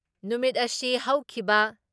ꯅꯨꯃꯤꯠ ꯑꯁꯤ ꯍꯧꯈꯤꯕ